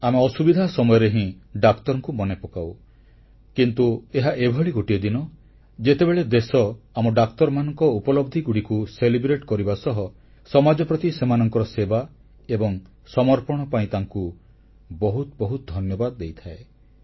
ଆମେ ଅସୁବିଧା ସମୟରେ ହିଁ ଡାକ୍ତରଙ୍କୁ ମନେପକାଉ କିନ୍ତୁ ଏହା ଏଭଳି ଗୋଟିଏ ଦିନ ଯେତେବେଳେ ଦେଶ ଆମ ଡାକ୍ତରମାନଙ୍କ ଉପଲବ୍ଧିଗୁଡ଼ିକୁ ଗ୍ରହଣ କରିବା ସହ ସମାଜ ପ୍ରତି ସେମାନଙ୍କ ସେବା ଏବଂ ସମର୍ପଣ ପାଇଁ ତାଙ୍କୁ ବହୁତ ବହୁତ ଧନ୍ୟବାଦ ଦେଇଥାଏ